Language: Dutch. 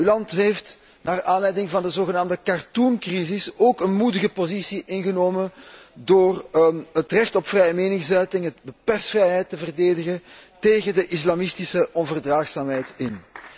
Uw land heeft naar aanleiding van de zogenaamde cartoon crisis ook een moedige positie ingenomen door het recht op vrije meningsuiting en de persvrijheid te verdedigen tegen de islamitische onverdraagzaamheid in.